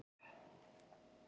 Það gerði mér mjög gott.